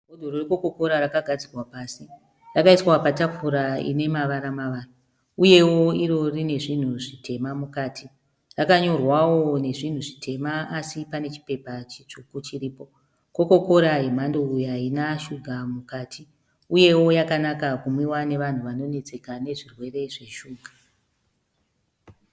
Bhodhoro rekokokora rakagadzikwa pasi, rakaiswa patafura ine mavara mavara uyewo iro rine zvinhu zvitema mukati. Rakanyorwawo nezvinhu zvitema asi pane chipepa chitsvuku chiripo. Kokokora yemhando iyi haina shuga mukati uyewo yakanaka kunwiwa nevanhu vane vanonetseka nezvirwere zveshuga.